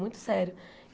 Muito sério.